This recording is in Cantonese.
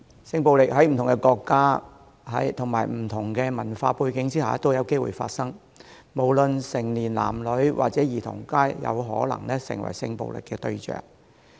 性暴力在不同國家和不同文化的地方都有機會發生，且無論成年男女或兒童，皆有可能成為性暴力的對象。